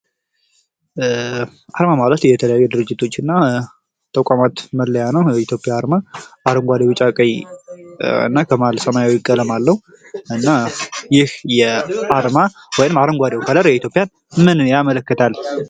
አርማ ማለት የተለያዩ ድርጅቶች እና ተቋማት መለያ ሲሆን የኢትዮጵያ አርማ አረንጓዴ ቢጫ ቀይ እና ከመሐል ሰማያዊ ቀለም አለው። እና ይህ አርማ ወይም አረንጓዴው ቀለም የኢትዮጵያን ምንን ያመለክታል?